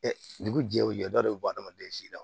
dugu jɛ o jɛ dɔ de bɛ bɔ adamaden si la